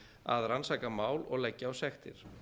að rannsaka mál og leggja á sektir